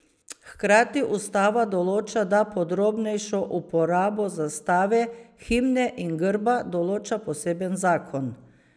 Hkrati ustava določa, da podrobnejšo uporabo zastave, himne in grba določa poseben zakon.